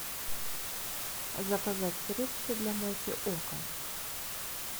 заказать средство для мойки окон